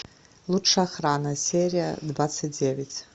лучшая охрана серия двадцать девять